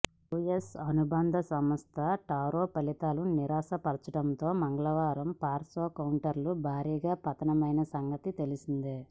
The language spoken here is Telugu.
యూఎస్ అనుబంధ సంస్థ టారో ఫలితాలు నిరాశ పరచడంతో మంగళవారం ఫార్మా కౌంటర్లు భారీగా పతనమైన సంగతి తెలిసిందే